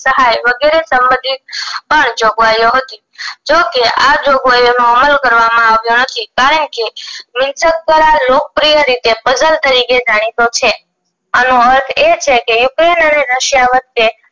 વગેરે સંભંધિત પણ જોગવાયેલો હતી જોકે આ જોઘવાયેલો અમલ કરવામાં આવ્યો નથી કારણ કે દ્વારા લોકપ્રિય રીતે puzzle તરીકે જાણીતો છે આનું અર્થ એ છેકે ukraine અને russia વચ્ચે